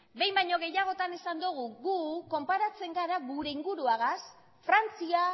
behin baino gehiagotan esan dugu gu konparatzen gara gure inguruagaz frantzia